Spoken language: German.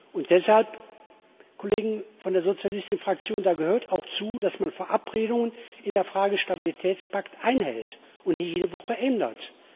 Und deshalb, Kollegen von der sozialistischen Fraktion, gehört da auch zu, dass man Verabredungen in der Frage des Stabilitätspakts einhält und nicht jede Woche ändert.